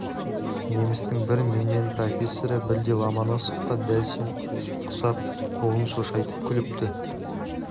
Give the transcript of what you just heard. немістің бір менмен профессоры бірде ломоносовқа дәл сен құсап қолын шошайтып күліпті